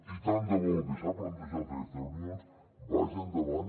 i tant de bo el que s’ha plantejat en aquestes reunions vagi endavant